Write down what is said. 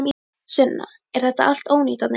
Sunna: Er þetta allt ónýtt þarna inni?